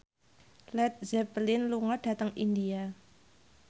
Led Zeppelin lunga dhateng India